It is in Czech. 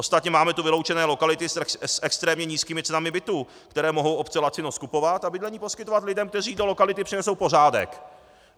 Ostatně máme tu vyloučené lokality s extrémně nízkými cenami bytů, které mohou obce lacino skupovat a bydlení poskytovat lidem, kteří do lokality přinesou pořádek.